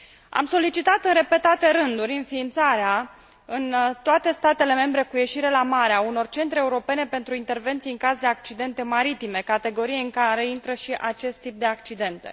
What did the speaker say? Am solicitat în repetate rânduri înființarea, în toate statele membre cu ieșire la mare, a unor centre europene pentru intervenții în caz de accidente maritime, categorie în care intră și acest tip de accidente.